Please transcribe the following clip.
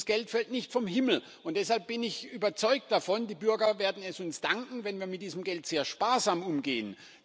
Dieses Geld fällt nicht vom Himmel. Deshalb bin ich überzeugt davon, die Bürger werden es uns danken, wenn wir mit diesem Geld sehr sparsam umgehen.